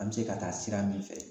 An be se ka taa sira min fɛ